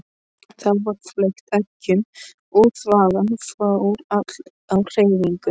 Þá var fleygt eggjum og þvagan fór öll á hreyfingu.